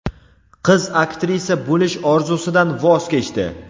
Qiz aktrisa bo‘lish orzusidan voz kechdi.